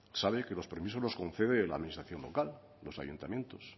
sabe que los permisos con concede la administración local los ayuntamientos